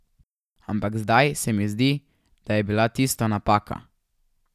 Ampak zdaj se mi zdi, da je bila tisto napaka.